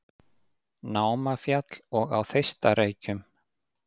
Námafjall og á Þeistareykjum.